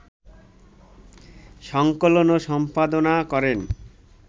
সংকলন ও সম্পাদনা করেন